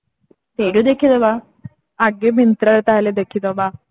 ସେଇଠୁ ଦେଖି ଦବା ଆଗେ Myntra ରେ ତାହେଲେ ଦେଖି ଦବା